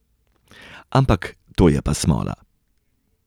Ampak to je pa smola.